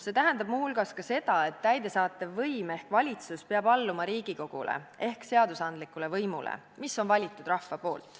See tähendab muu hulgas ka seda, et täidesaatev võim ehk valitsus peab alluma Riigikogule ehk seadusandlikule võimule, mille on valinud rahvas.